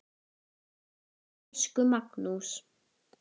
Elsku Magnús.